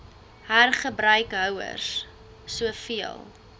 hergebruik houers soveel